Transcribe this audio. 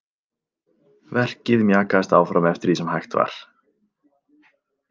Verkið mjakaðist áfram eftir því sem hægt var.